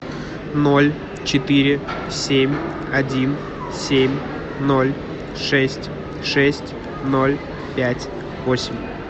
ноль четыре семь один семь ноль шесть шесть ноль пять восемь